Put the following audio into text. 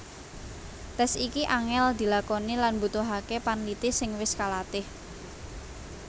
Tes iki angel dilakoni lan mbutuhake panliti sing wis kalatih